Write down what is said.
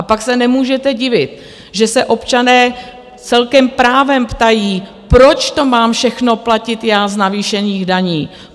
A pak se nemůžete divit, že se občané celkem právem ptají, proč to mám všechno platit já z navýšených daní?